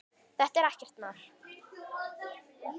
Þetta er ekkert mál.